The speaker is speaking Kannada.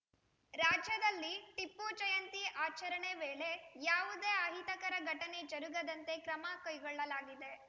ರಾಜ್ಯದಲ್ಲಿ ಟಿಪ್ಪು ಜಯಂತಿ ಆಚರಣೆ ವೇಳೆ ಯಾವುದೇ ಅಹಿತಕರ ಘಟನೆ ಜರುಗದಂತೆ ಕ್ರಮ ಕೈಗೊಳ್ಳಲಾಗಿದೆ